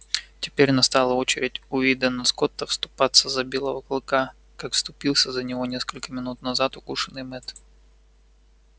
теперь настала очередь уидона скотта вступиться за белого клыка как вступился за него несколько минут назад укушенный мэтт